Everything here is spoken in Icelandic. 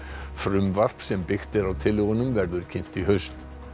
frumvarp sem byggt er á tillögunum verður kynnt í haust